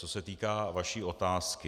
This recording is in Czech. Co se týká vaší otázky.